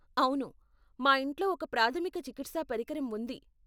అవును, మా ఇంట్లో ఒక ప్రాధమిక చికిత్సా పరికరం ఉంది.